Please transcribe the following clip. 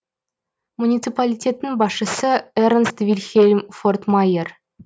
муниципалитеттің басшысы эрнст вильхельм фортмайер